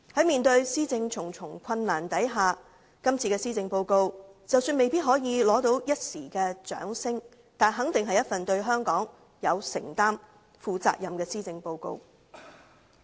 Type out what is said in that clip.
面對施政的重重困難，今次施政報告即使未必可以博得一時掌聲，但肯定是一份對香港有承擔、負責任的施政報告。